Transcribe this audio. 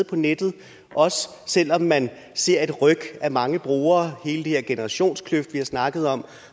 på nettet også selv om man ser et ryk af mange brugere hele den her generationskløft som vi har snakket om